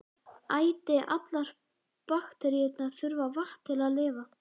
Æti: allar bakteríur þurfa vatn til að lifa.